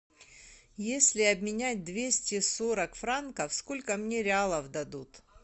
если обменять двести сорок франков сколько мне реалов дадут